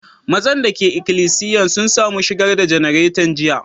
Mazan da ke ikilisiyan sun samu shigar da janaretan jiya?